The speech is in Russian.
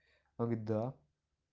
когда